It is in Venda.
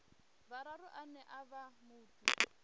vhuraru ane a vha muthu